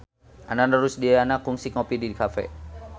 Ananda Rusdiana kungsi ngopi di cafe